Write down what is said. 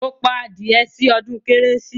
Mo pa adìyẹ sí odún kérésì